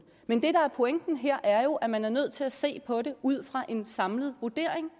men det der er pointen her er jo at man er nødt til at se på det ud fra en samlet vurdering